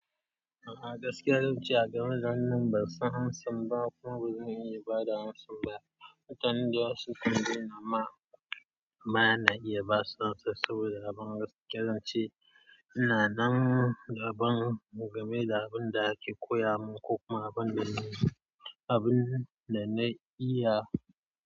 A gaskiya, zance a game da wannan bansan amsan ba, kuma bazan iya ba da amsan ba. Mutane dayawa sun tambayeni amma, amma bana iya basu amsan saboda abin gaskiya zan ce ina nan da abin game da abin da ake koya min ko kuma abinda n abin da na iya.